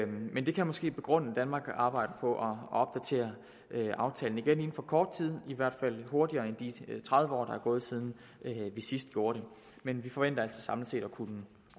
men det kan måske begrunde at danmark arbejder på at opdatere aftalen inden for kort tid i hvert fald hurtigere end de tredive år der er gået siden vi sidst gjorde det men vi forventer altså samlet set at kunne